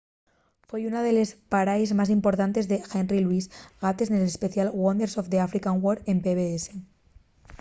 foi una de les paraes más importantes de henry louis gates nel especial wonders of the african word” en pbs